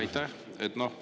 Aitäh!